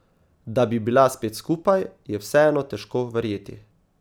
Da bi bila spet skupaj, je vseeno težko verjeti.